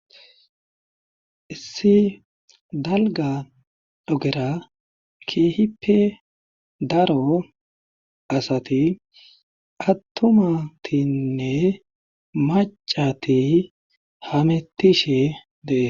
Issi dalga dhogera keehippe daro asati attumatinne macati hamettishe dee..